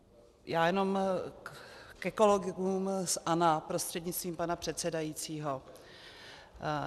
Já jenom ke kolegům z ANO prostřednictvím pana předsedajícího.